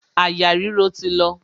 Àyà ríro ti lọ.